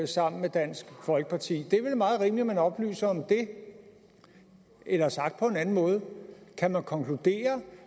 sammen med dansk folkeparti det er vel meget rimeligt at man oplyser om det eller sagt på en anden måde kan man konkludere